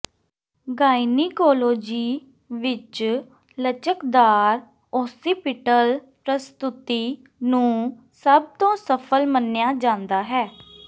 gynaecology ਵਿਚ ਲਚਕਦਾਰ occipital ਪ੍ਰਸਤੁਤੀ ਨੂੰ ਸਭ ਤੋਂ ਸਫਲ ਮੰਨਿਆ ਜਾਂਦਾ ਹੈ